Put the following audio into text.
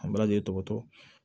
A marali tɔgɔ